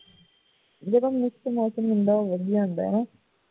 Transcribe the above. ਜਿਹੜਾ mix ਮੌਸਮ ਹੁੰਦਾ ਉਹ ਵਧੀਆ ਹੁੰਦਾ ਹੈ ਨਾ